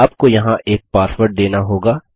आपको यहाँ एक पासवर्ड देना होगा